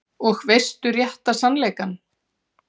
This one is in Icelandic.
Og veistu rétta sannleikann?